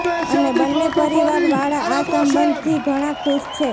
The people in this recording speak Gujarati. અને બન્ને પરિવાર વાળા આ સંબંધથી ઘણા ખુશ છે